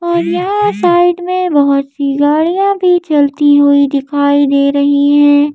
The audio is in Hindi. और यहां साइड में बहुत सी गाड़ियां भी चलती हुई दिखाई दे रही है।